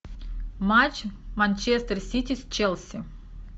матч манчестер сити с челси